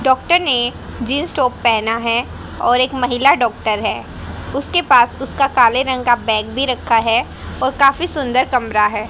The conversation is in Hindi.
डॉक्टर ने जींस टॉप पहना है और एक महिला डॉक्टर है उसके पास उसका काले रंग का बैग भी रखा है और काफी सुंदर कमरा है।